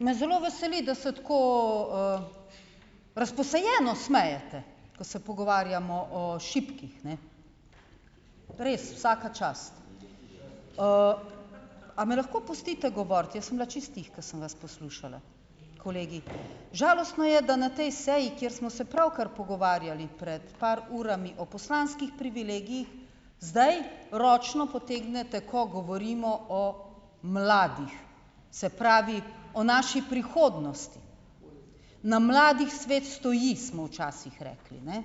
Me zelo veseli, da se tako, razposajeno smejete, ko se pogovarjamo o šibkih, ne, res vsaka čast, a me lahko pustite govoriti, jaz sem bila čisto tiho, ke sem vas poslušala. Kolegi, žalostno je, da na tej seji, kjer smo se pravkar pogovarjali pred par urami o poslanskih privilegijih, zdaj ročno potegnete, ko govorimo o mladih, se pravi o naši prihodnosti, na mladih svet stoji, smo včasih rekli, ne,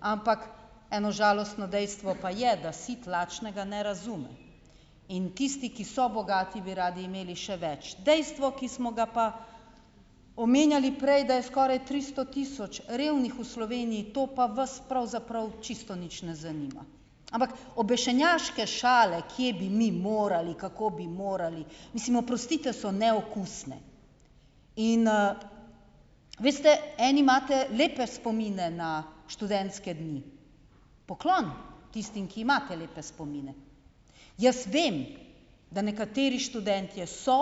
ampak eno žalostno dejstvo pa je, da sit lačnega ne razume, in tisti, ki so bogati, bi radi imeli še več, dejstvo, ki smo ga pa omenjali prej, da je skoraj tristo tisoč revnih v Sloveniji, to pa vas pravzaprav čisto nič ne zanima, ampak obešenjaške šale, kje bi mi morali, kako bi morali, mislim, oprostite, so neokusne in, veste eni imate lepe spomine na študentske dni, poklon tistim, ki imate lepe spomine, jaz vem, da nekateri študentje so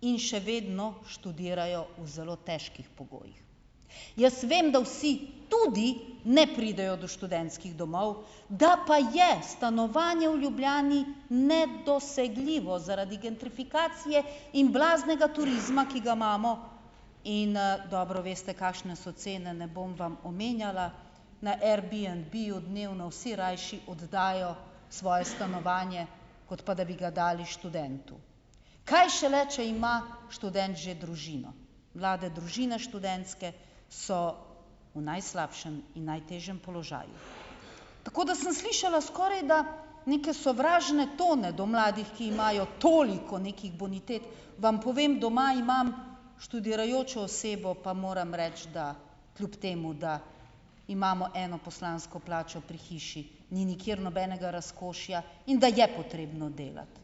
in še vedno študirajo v zelo težkih pogojih jaz vem da vsi tudi ne pridejo do študentskih domov, da pa je stanovanje v Ljubljani nedosegljivo zaradi gentrifikacije in blaznega turizma, ki ga imamo in, dobro veste, kakšne so cene, ne bom vam omenjala, na Airbnb dnevno vsi rajši oddajo svoje stanovanje, kot pa da bi ga dali študentu, kaj šele če ima študent že družino, mlade družine študentske so v najslabšem in najtežjem položaju, tako da sem slišala skorajda neke sovražne tone do mladih, ki imajo toliko nekih bonitet, vam povem, doma imam študirajočo osebo pa moram reči, da kljub temu da imamo eno poslansko plačo pri hiši, ni nikjer nobenega razkošja, in da je potrebno delati,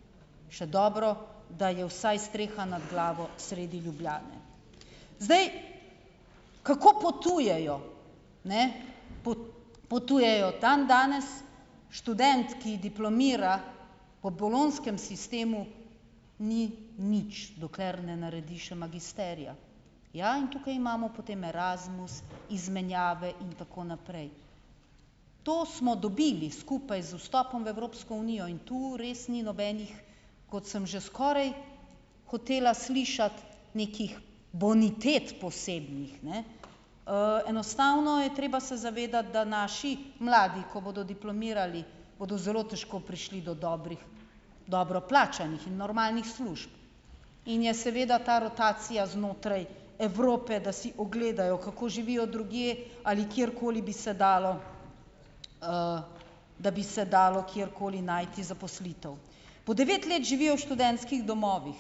še dobro, da je vsaj streha nad glavo sredi Ljubljane, zdaj, kako potujejo, ne, potujejo, tam danes študent, ki diplomira po bolonjskem sistemu ni nič, dokler ne naredi še magisterija, ja, in tukaj imamo potem Erasmus izmenjave in tako naprej, to smo dobili skupaj z vstopom v Evropsko unijo in to res ni nobenih, ko sem že skoraj hotela slišati nekih bonitet posebnih, ne, enostavno je treba se zavedati, da naši mladi, ko bodo diplomirali, bodo zelo težko prišli do dobrih, dobro plačanih in normalnih služb in je seveda ta rotacija znotraj Evrope, da si ogledajo, kako živijo drugje, ali kjerkoli bi se dalo, da bi se dalo kjerkoli najti zaposlitev. Po devet let živijo v študentskih domovih.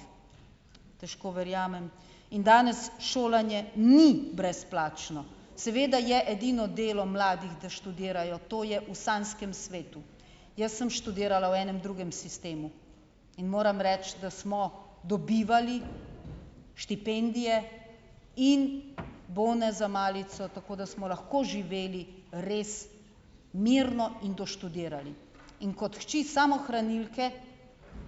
Težko verjamem in danes šolanje ni brezplačno, seveda je edino delo mladih, da študirajo, to je v sanjskem svetu. Jaz sem študirala v enem drugem sistemu in moram reči, da smo dobivali štipendije in bone za malico, tako da smo lahko živeli res mirno in doštudirali, in kot hči samohranilke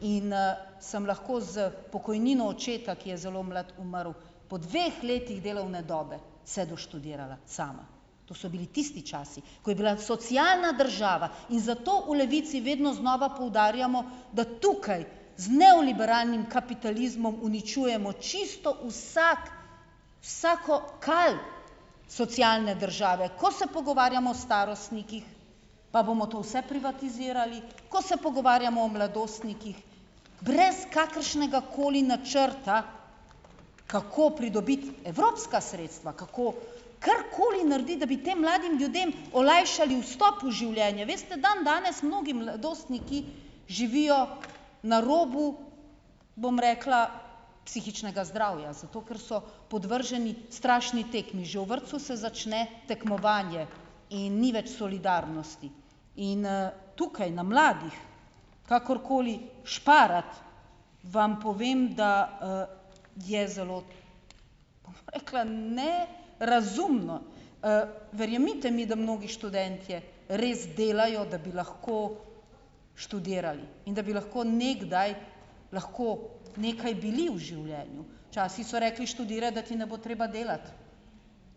in, sem lahko s pokojnino očeta, ki je zelo mlad umrl po dveh letih delovne dobe, se doštudirala sama, to so bili tisti časi, ko je bila socialna država, in zato v Levici vedno znova poudarjamo, da tukaj z neoliberalnim kapitalizmom uničujemo čisto vsako, vsako kal socialne države, ko se pogovarjamo o starostnikih pa bomo to vse privatizirali, ko se pogovarjamo o mladostnikih brez kakršnega koli načrta, kako pridobiti evropska sredstva, kako karkoli narediti, da bi tem mladim ljudem olajšali vstop v življenje. Veste, dandanes mnogi mladostniki živijo na robu, bom rekla, psihičnega zdravja, zato ker so podvrženi strašni tekmi, že v vrtcu se začne tekmovanje in ni več solidarnosti in, tukaj na mladih kakorkoli šparati, vam povem, da, je zelo, rekla, ne razumno, verjemite mi, da mnogi študentje res delajo, da bi lahko študirali in da bi lahko nekdaj lahko nekaj bili v življenju, včasih so rekli: "Študiraj, da ti ne bo treba delati."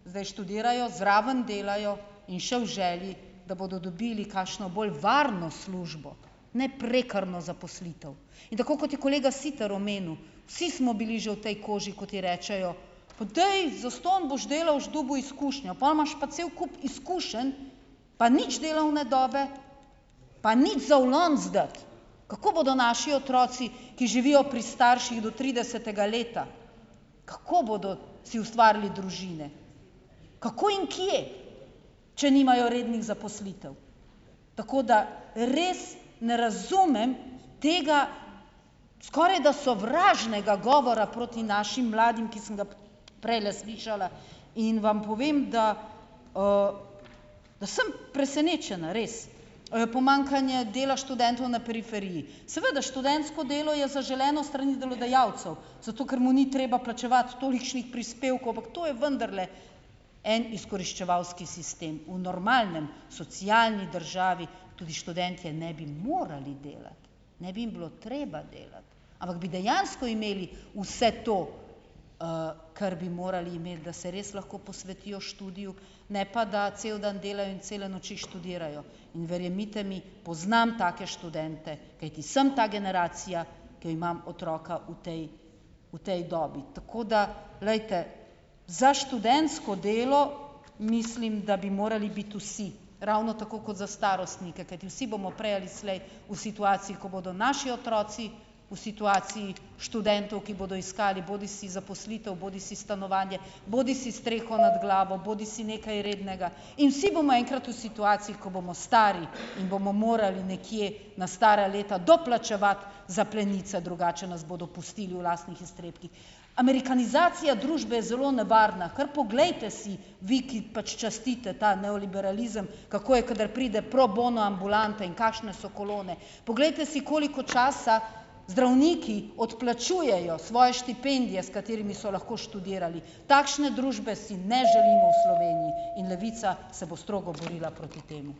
Zdaj študirajo, zraven delajo in še v želji, da bodo dobili kakšno bolj varno službo, ne prekarno zaposlitev. In tako kot je kolega Sitar omenil, vsi smo bili že v tej koži, kot je rečejo: "Pa daj, zastonj boš delal, boš dobil izkušnjo." Pol imaš pa cel kup izkušenj pa nič delovne dobe pa nič za v lonec dati. Kako bodo naši otroci, ki živijo pri starših do tridesetega leta, kako bodo si ustvarili družine, kako in kje, če nimajo rednih zaposlitev, tako da res ne razumem tega skorajda sovražnega govora proti našim mladim, ki sem ga prejle slišala, in vam povem, da, da sem presenečena, res, pomanjkanje dela študentov na periferiji. Seveda študentsko delo je zaželeno s strani delodajalcev, zato ker mu ni treba plačevati tolikšnih prispevkov, ampak to je vendarle en izkoriščevalski sistem, v normalni socialni državi tudi študentje ne bi morali delati, ne bi jim bilo treba delati, ampak bi dejansko imeli vse to, kar bi morali imeti, da se res lahko posvetijo študiju, ne pa da cel dan delajo in cele noči študirajo. In verjemite mi, poznam take študente, kajti sem ta generacija, ke imam otroka v tej, v tej dobi, tako da, glejte, za študentsko delo mislim, da bi morali biti vsi ravno tako kot za starostnike, kajti vsi bomo prej ali slej v situaciji, ko bodo naši otroci v situaciji študentov, ki bodo iskali bodisi zaposlitev bodisi stanovanje bodisi streho nad glavo bodisi nekaj rednega, in vsi bomo enkrat v situaciji, ko bomo stari in bomo morali nekje na stara leta doplačevati za plenice, drugače nas bodo pustili v lastnih iztrebkih. Amerikanizacija družbe je zelo nevarna, kar poglejte si vi, ki pač častite ta neoliberalizem, kako je, ko pride pro bono ambulanta in kakšne so kolone, poglejte si, koliko časa zdravniki odplačujejo svoje štipendije, s katerimi so lahko študirali. Takšne družbe si ne želimo v Sloveniji in Levica se bo strogo borila proti temu.